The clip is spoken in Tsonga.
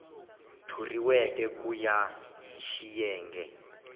thoriweke ku ya hi xiyenge